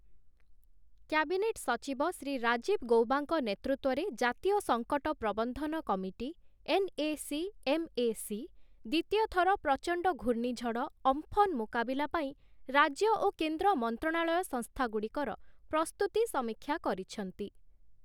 Cabinet ସଚିବ ଶ୍ରୀ ରାଜୀବ ଗୌବାଙ୍କ ନେତୃତ୍ୱରେ ଜାତୀୟ ସଙ୍କଟ ପ୍ରବନ୍ଧନ କମିଟି 'ଏନ୍‌.ଏ.ସି.ଏମ୍.ଏ.ସି ' ଦ୍ୱିତୀୟ ଥର ପ୍ରଚଣ୍ଡ ଘୂର୍ଣ୍ଣିଝଡ଼ 'ଅମ୍ଫନ' ମୁକାବିଲା ପାଇଁ ରାଜ୍ୟ ଓ କେନ୍ଦ୍ର ମନ୍ତ୍ରଣାଳୟ ସଂସ୍ଥାଗୁଡ଼ିକର ପ୍ରସ୍ତୁତି ସମୀକ୍ଷା କରିଛନ୍ତି ।